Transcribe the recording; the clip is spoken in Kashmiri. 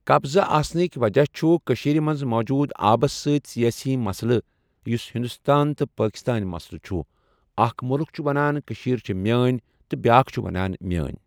قبضہ آسنکؠ وجہہ چھُ کشیرِ مَنٛز موجود آبس سۭتۍ سیاسی مسئلہ یوسہ ہندۄستٲنۍ تہ پاکستٲنۍ مسئلہ چھُ اَکھ مُلُک چھُ ونان کشیر چھِ میٲنۍ تہ بؠاکھ چھُ ونان میٲنۍ۔